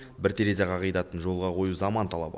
бір терезе қағидатын жолға қою заман талабы